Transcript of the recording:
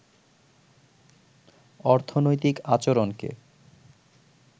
অর্থনৈতিক আচরণকে